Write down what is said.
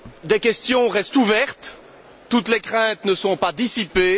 Des questions restent ouvertes, toutes les craintes ne sont pas dissipées.